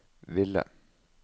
ville